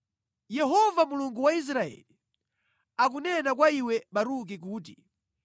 “Yehova Mulungu wa Israeli, akunena kwa iwe Baruki kuti: